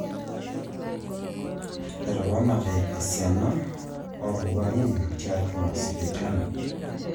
Eteponate esiana orwarin tiatwa sipitali